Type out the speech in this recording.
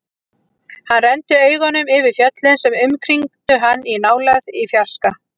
Hann renndi augunum yfir fjöllin sem umkringdu hann, í nálægð, í fjarska.